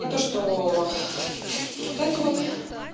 и то что вот это вот